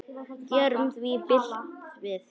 Gerum því bylt við.